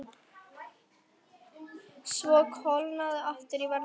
Svo kólnaði aftur í veðri.